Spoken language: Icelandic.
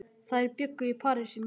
Þær bjuggu í París í mörg ár.